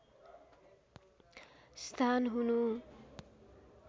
स्थान हुनु